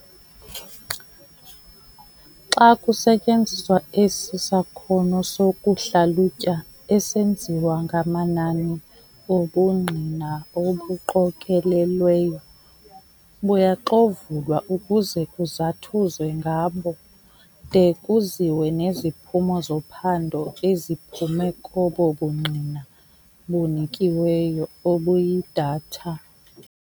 Xa kusetyenziswa esi sakhono sokuhlalutya esenziwa ngamanani, ubungqina obuqokolelweyo buyaxovulwa ukuze kuzathuzwe ngabo, de kuziwe neziphumo zophando eziphume kobo bungqina bunikiweyo, obuyi-data.